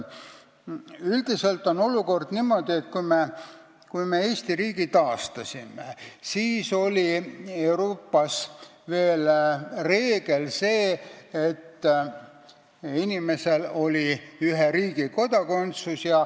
Üldiselt on olukord selline, et kui me Eesti riigi taastasime, siis oli Euroopas veel selline reegel, et inimesel oli ühe riigi kodakondsus.